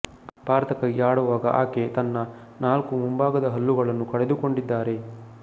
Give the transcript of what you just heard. ಭಾರತಕ್ಕಾಗಿ ಆಡುವಾಗ ಆಕೆ ತನ್ನ ನಾಲ್ಕು ಮುಂಭಾಗದ ಹಲ್ಲುಗಳನ್ನು ಕಳೆದುಕೊಂಡಿದ್ದಾರೆ